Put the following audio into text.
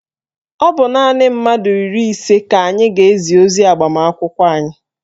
Ọ bụ naanị mmadụ iri ise ka anyị ga-ezi ozi agbamakwụkwọ anyị